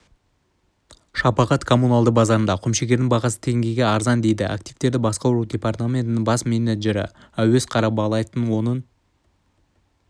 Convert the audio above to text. шапағат коммуналды базарында құмшекердің бағасы теңгеге арзан дейді активтерді басқару департаментінің бас менеджері әуез қарабалаев оның